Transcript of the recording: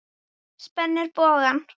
Spennir bogann.